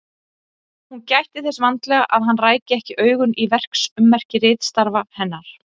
Hún gætti þess vandlega að hann ræki ekki augun í verksummerki ritstarfa hennar.